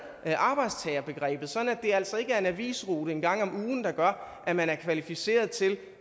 arbejdstagerbegrebet sådan at det altså ikke er en avisrute en gang om ugen der gør at man er kvalificeret til